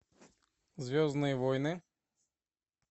звездные войны